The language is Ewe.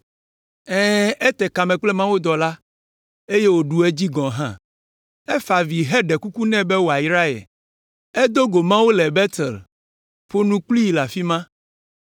Ɛ̃, ete kame kple mawudɔla, eye wòɖu edzi gɔ̃ hã. Efa avi heɖe kuku nɛ be wòayra ye. Edo go Mawu le Betel, ƒo nu kplii le afi ma.